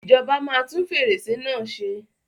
Ìjọba máa tún fèrèsé náà ṣe.